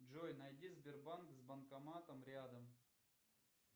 джой найди сбербанк с банкоматом рядом